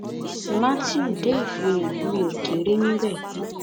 mátíù dé ìfihàn mi ó kéré níbẹ